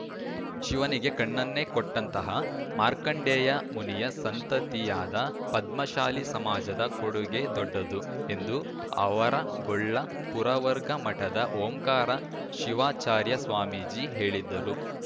ಶಿವನಿಗೆ ಕಣ್ಣನ್ನೇ ಕೊಟ್ಟಂತಹ ಮಾರ್ಕಂಡೇಯ ಮುನಿಯ ಸಂತತಿಯಾದ ಪದ್ಮಶಾಲಿ ಸಮಾಜದ ಕೊಡುಗೆ ದೊಡ್ಡದು ಎಂದು ಆವರಗೊಳ್ಳ ಪುರವರ್ಗ ಮಠದ ಓಂಕಾರ ಶಿವಾಚಾರ್ಯ ಸ್ವಾಮೀಜಿ ಹೇಳಿದರು